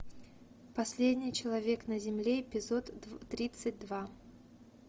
последний человек на земле эпизод тридцать два